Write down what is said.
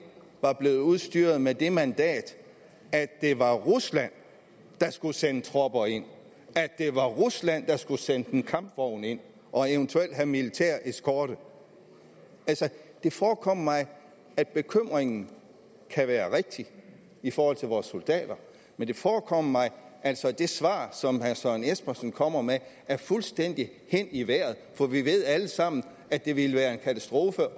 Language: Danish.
var blevet udstyret med det mandat at det var rusland der skulle sende tropper ind at det var rusland der skulle sende en kampvogn ind og eventuelt have militær eskorte det forekommer mig at bekymringen kan være rigtig i forhold til vores soldater men det forekommer mig altså at det svar som herre søren espersen kommer med er fuldstændig hen i vejret for vi ved alle sammen at det ville være en katastrofe